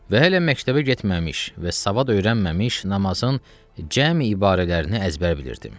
Və hələ məktəbə getməmiş və savad öyrənməmiş namazın cəmi ibarələrini əzbər bilirdim.